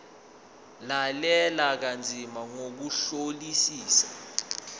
lalela kanzima ngokuhlolisisa